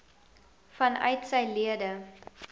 vanuit sy lede